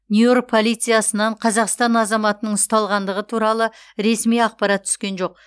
нью йорк полициясынан қазақстан азаматының ұсталғандығы туралы ресми ақпарат түскен жоқ